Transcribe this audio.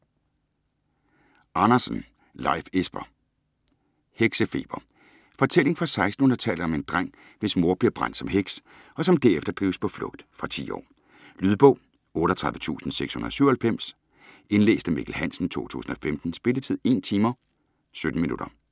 Andersen, Leif Esper: Heksefeber Fortælling fra 1600-tallet om en dreng, hvis mor bliver brændt som heks, og som derefter drives på flugt. Fra 10 år. Lydbog 38697 Indlæst af Mikkel Hansen, 2015. Spilletid: 1 timer, 17 minutter.